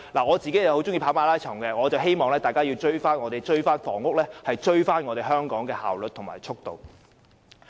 我很喜歡跑馬拉松，我希望在房屋方面可以追上香港的效率和速度。